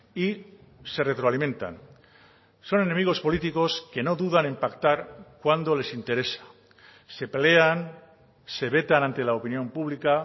y se retroalimentan son enemigos políticos que no dudan en pactar cuando les interesa se pelean se vetan ante la opinión pública